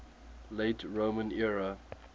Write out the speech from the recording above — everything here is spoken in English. late roman era